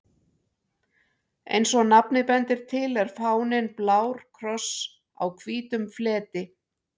Eins og nafnið bendir til er fáninn blár kross á hvítum fleti.